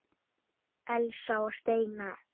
Elsa og Steina.